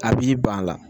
A b'i ban a la